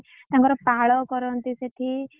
ତାଙ୍କର ପାଳ କରନ୍ତି ସେଠି।